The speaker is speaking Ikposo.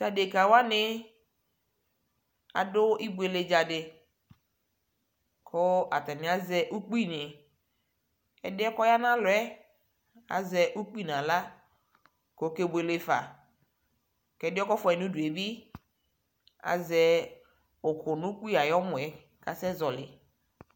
Tadekawani adu ibuele ɖʒadi kuu ataniaƶɛ ukpinii ɛdiɛ kɔya alɛɛ aʒɛ ukpi naɣla kɔkebuele fa kɛdiɛ kɔfuayi nudue bi aʒɛ uku nukpiayɔmɔe kasɛsɛ ʒɔlii